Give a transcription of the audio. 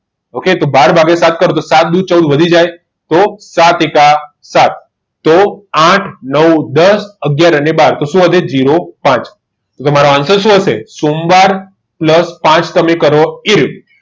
okay બાર વાગ્યા સાફ કરી દો ચૌદ વધી જાય તો સાત એકા સાત તો આઠ નવ દસ અગિયાર અને બાર તો શું વધે જીરો પાચ તો તમારો answer શું હશે સોમવાર plus પાંચ તમે કરો એ રીતે